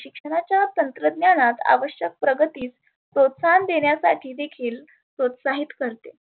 शिक्षणाच्या तंत्रज्ञानात आवश्यक प्रगतीत प्रोस्ताहन देण्यासाठी देखील प्रोस्ताहीत करते.